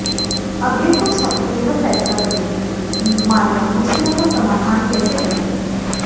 अगले कुछ हफ्ते यह फैसला करेंगे कि माल्या मुश्किलों का समाधान कैसे करेंगे